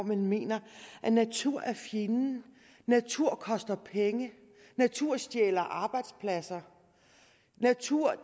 man mener at naturen er fjenden at naturen koster penge at naturen stjæler arbejdspladser at naturen